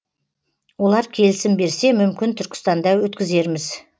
олар келісім берсе мүмкін түркістанда өткізерміз